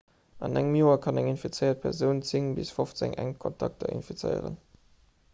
an engem joer kann eng infizéiert persoun 10 bis 15 enk kontakter infizéieren